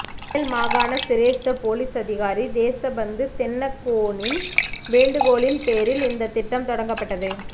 மேல் மாகாண சிரேஷ்ட பொலிஸ் அதிகாரி தேசபந்து தென்னக்கோனின் வேண்டுகோளின் பேரில் இந்த திட்டம் தொடங்கப்பட்டது